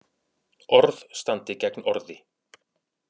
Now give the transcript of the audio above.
Orð standi gegn orði